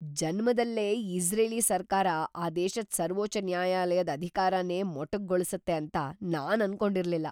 ಜನ್ಮದಲ್ಲೇ Israeli ಸರ್ಕಾರ ಆ ದೇಶದ್ ಸರ್ವೋಚ್ಚ ನ್ಯಾಯಾಲಯದ್ ಅಧಿಕಾರನೇ ಮೊಟಕುಗೊಳ್ಸತ್ತೆ ಅಂತ ನಾನ್ ಅನ್ಕೊಂಡಿರ್ಲಿಲ್ಲ.